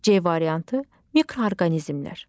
C variantı mikroorqanizmlər.